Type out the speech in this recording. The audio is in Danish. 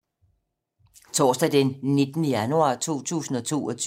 Onsdag d. 19. januar 2022